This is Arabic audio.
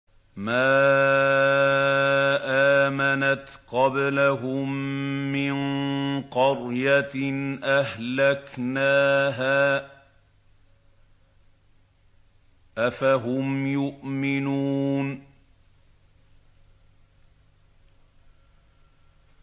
مَا آمَنَتْ قَبْلَهُم مِّن قَرْيَةٍ أَهْلَكْنَاهَا ۖ أَفَهُمْ يُؤْمِنُونَ